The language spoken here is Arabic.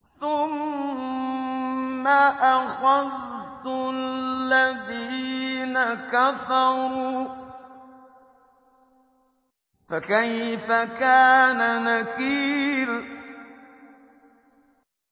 ثُمَّ أَخَذْتُ الَّذِينَ كَفَرُوا ۖ فَكَيْفَ كَانَ نَكِيرِ